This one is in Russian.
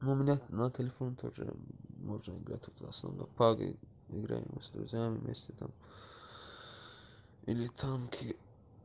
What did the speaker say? у меня на телефоне тоже можно играть в основном пабг играем с друзьями вместе там или танки